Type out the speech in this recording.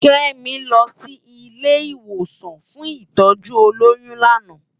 Kemi lò si ilé iwósàn fún itòjú ólóyùn làná